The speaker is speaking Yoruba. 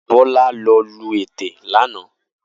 Bola lò lú été lànã